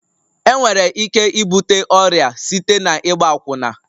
Enwere ike ibute ọrịa site na ịgba akwụna